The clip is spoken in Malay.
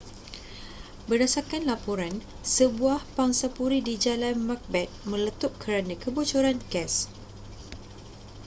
berdasarkan laporan sebuah pangsapuri di jalan macbeth meletup kerana kebocoran gas